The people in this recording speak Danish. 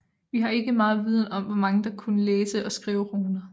Vi har ikke megen viden om hvor mange der kunne læse og skrive runer